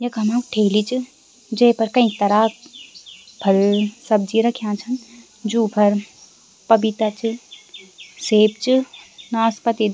यखम ठेली च जेपर कई तराह क फल सब्जी रख्याँ छन जू फर पपीता च सेब च नाशपाती --